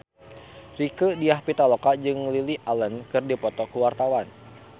Rieke Diah Pitaloka jeung Lily Allen keur dipoto ku wartawan